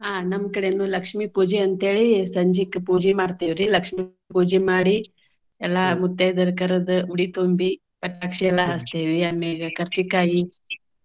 ಹಾ, ನಮ್ಮ ಕಡೆನು ಲಕ್ಷ್ಮೀ ಪೂಜೆ ಅಂತ ಹೇಳಿ ಸಂಜೀಕ್ ಪೂಜೆ ಮಾಡ್ತೇವ್ರಿ. ಲಕ್ಷ್ಮೀ ಪೂಜೆ ಮಾಡಿ ಎಲ್ಲಾ ಮುತೈದೆಯರ ಕರ್ದ್ ಉಡಿ ತುಂಬಿ ಪಟಾಕ್ಷಿ ಎಲ್ಲಾ ಹಚ್ತಿವಿ. ಆಮೇಗ ಕರ್ಚಿಕಾಯಿ.